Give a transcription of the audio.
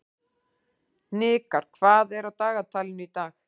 Hnikar, hvað er á dagatalinu í dag?